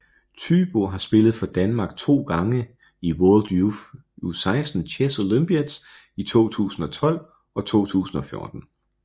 Thybo har spillet for Danmark to gange i World Youth U16 Chess Olympiads i 2012 og 2014